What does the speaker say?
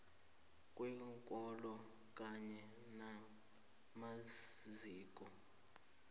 kweenkolo kanye namaziko